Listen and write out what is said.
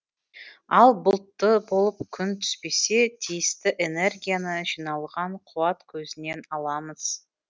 ал бұлтты болып күн түспесе тиісті энергияны жиналған қуат көзінен аламыз